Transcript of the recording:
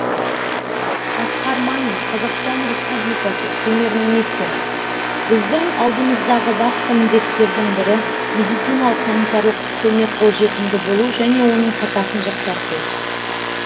асқар мамин қазақстан республикасы премьер министрі біздің алдымыздағы басты міндеттердің бірі медициналық санитарлық көмек қолжетімді болу және оның сапасын жақсарту